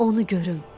Onu görüm.